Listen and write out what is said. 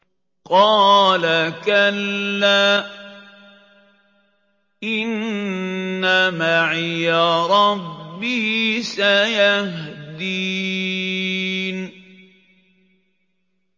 قَالَ كَلَّا ۖ إِنَّ مَعِيَ رَبِّي سَيَهْدِينِ